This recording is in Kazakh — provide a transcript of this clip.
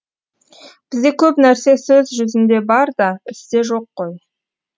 бізде көп нәрсе сөз жүзінде бар да істе жоқ қой